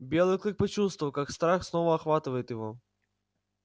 белый клык почувствовал как страх снова охватывает его